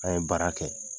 An ye baara kɛ